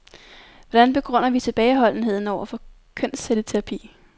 Hvordan begrunder vi tilbageholdenheden over for kønscelleterapi.